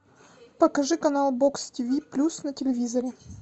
покажи канал бокс тв плюс на телевизоре